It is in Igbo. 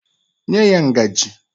Nye ya ngajị!